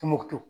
Tumutu